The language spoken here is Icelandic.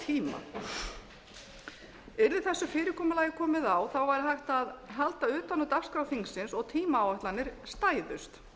tíma yrði þessu fyrirkomulagi komið á væri hægt halda utan um dagskrá þingsins og tímaáætlanir stæðust